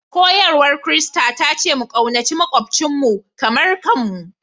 Koyarwar Kirista ta ce mu ƙaunaci maƙwabcinmu kamar kanmu